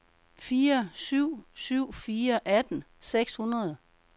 fire syv syv fire atten seks hundrede